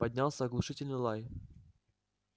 поднялся оглушительный лай